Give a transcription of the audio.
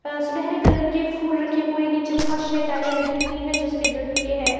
अह सुनहरे कलर के फूल रखे हुए नीचे फर्श है टाइलें लगी हुई है जो सफेद रंग के है।